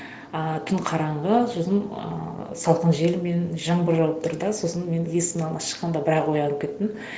ыыы түн қараңғы сосын ыыы салқын жел мен жаңбыр жауып тұр да сосын мен есіктің алдына шыққанда бірақ оянып кеттім